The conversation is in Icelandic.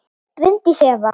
Bryndís Eva.